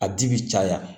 A ji bɛ caya